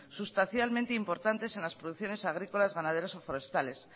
sustancialmente importantes en las producciones agrícolas ganaderas o forestales